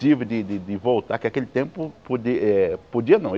Tive de de de voltar, que aquele tempo podi eh podia não.